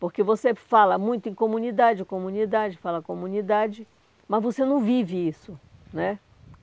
Porque você fala muito em comunidade, comunidade, fala comunidade, mas você não vive isso, né?